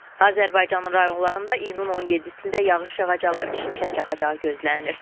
Azərbaycanın rayonlarında iyunun 17-də yağış yağacağı, şimşək çaxacağı gözlənilir.